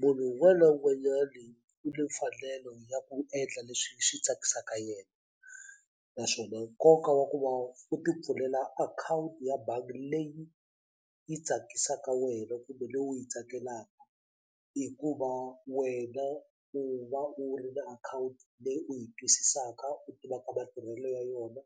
Munhu wun'wani na wun'wanyani u ni mfanelo ya ku endla leswi swi tsakisaka yena naswona nkoka wa ku va u ti pfulela akhawunti ya bangi leyi yi tsakisaka wena kumbe leyi u yi tsakelaka hi ku va wena u va u ri na akhawunti leyi u yi twisisaka u tiva ka matirhelo ya yona